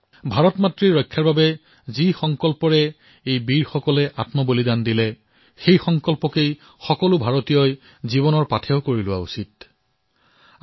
ভাৰতমাতৃৰ ৰক্ষাৰ বাবে যি সংকল্পৰ সৈতে আমাৰ জোৱানসকলে বলিদান দিছে সেই সংকল্পক আমিও জীৱনৰ চালিকা শক্তি হিচাপে মানি লব লাগিব প্ৰতিদন দেশবাসীয়ে এয়া মানি লব লাগিব